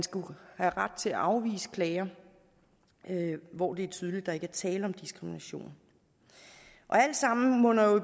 have ret til at afvise klager hvor det er tydeligt at der ikke er tale om diskrimination alt sammen bunder jo